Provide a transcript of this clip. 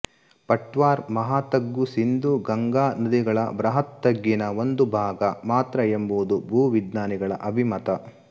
ಪಟ್ವಾರ್ ಮಹಾತಗ್ಗು ಸಿಂಧೂ ಗಂಗಾನದಿಗಳ ಬೃಹತ್ ತಗ್ಗಿನ ಒಂದು ಭಾಗ ಮಾತ್ರ ಎಂಬುದು ಭೂವಿಜ್ಞಾನಿಗಳ ಅಭಿಮತ